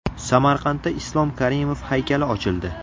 Samarqandda Islom Karimov haykali ochildi.